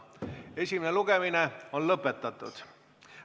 Esimene lugemine on lõppenud.